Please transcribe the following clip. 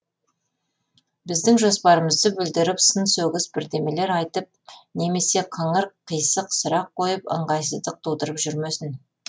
біздің жоспарымызды бүлдіріп сын сөгіс бірдемелер айтып немесе қыңыр қисық сұрақ қойып ыңғайсыздық тудырып жүрмесін